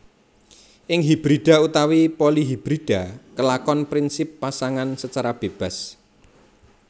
Ing hibrida utawi polihibrida kelakon prinsip Pasangan secara bebas